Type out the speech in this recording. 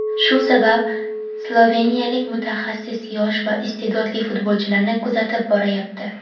Shu sabab sloveniyalik mutaxassis yosh va iste’dodli futbolchilarni kuzatib borayapti.